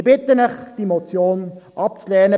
Ich bitte Sie, die Motion abzulehnen.